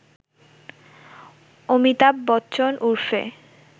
অমিতাভ বচ্চন ওরফে